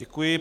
Děkuji.